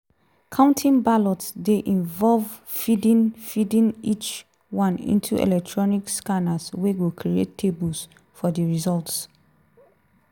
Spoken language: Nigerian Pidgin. counting ballots dey involve feeding feeding each one into electronic scanners wey go create tables for di results.